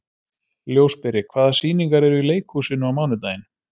Ljósberi, hvaða sýningar eru í leikhúsinu á mánudaginn?